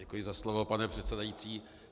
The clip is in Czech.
Děkuji za slovo, pane předsedající.